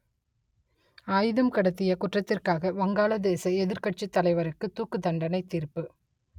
ஆயுதம் கடத்திய குற்றத்திற்காக வங்காளதேச எதிர்க்கட்சித் தலைவருக்கு தூக்குத்தண்டனை தீர்ப்பு